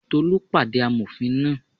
Tolú pàdé amòfin náà